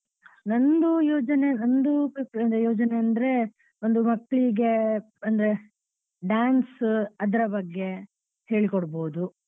ನನ್ದು ಯೋಜನೆ ನನ್ದು ಯೋಜನೆ ಅಂದ್ರೆ ಒಂದು ಮಕ್ಳಿಗೆ ಅಂದ್ರೆ dance ಅದ್ರ ಬಗ್ಗೆ ಹೇಳಿ ಕೋಡ್ಬೋದು.